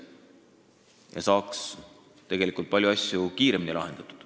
Asjad saaks tegelikult palju kiiremini lahendatud.